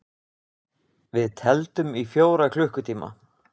Við tefldum í fjóra klukkutíma!